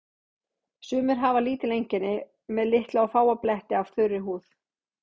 Sumir hafa lítil einkenni með litla og fáa bletti af þurri húð.